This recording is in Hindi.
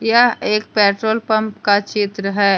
यह एक पेट्रोल पंप का चित्र है।